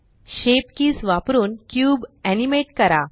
shape keys वापरुन cube animate करा